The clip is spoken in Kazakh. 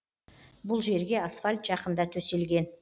бұл жерге асфальт жақында төселген